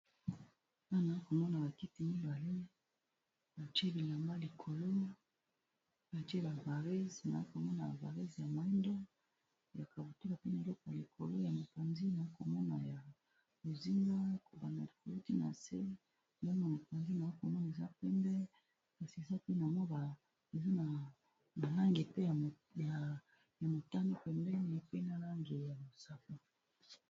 Wana na komona bakiti mibale batiye bilamba likolo batiye ba Varèse, na komona Varèse ya moyindo ya kabutula pembe na biloko likolo ya mopanzi na komona ya bozinga a kobanda likolo pe nase na mopanzi nakomona eza pembe kasi eza pe na balangi pe ya motano pemdeni pe na langi ya mosaka.